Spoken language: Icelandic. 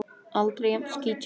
Aldrei jafn skítt hjá öðrum.